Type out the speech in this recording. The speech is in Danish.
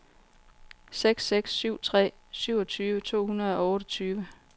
seks seks syv tre syvogtyve to hundrede og otteogtyve